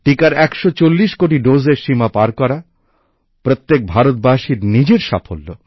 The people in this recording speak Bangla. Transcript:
টিকার একশো চল্লিশ কোটি ডোজের সীমা পার করা প্রত্যেক ভারতবাসীর নিজের সাফল্য